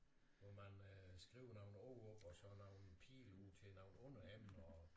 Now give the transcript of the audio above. Hvor man øh skriver nogle ord op og så nogle pile ud til nogle underemner og